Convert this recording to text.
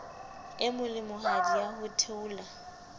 e molemohadi ya ho theola